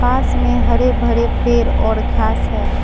पास में हरे भरे पेर और घास है।